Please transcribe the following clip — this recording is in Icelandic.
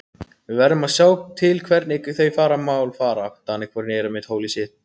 Við verðum að sjá til hvernig þau mál fara.